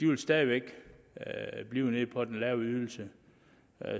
man stadig væk blive på den lave ydelse